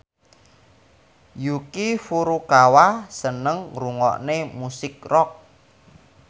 Yuki Furukawa seneng ngrungokne musik rock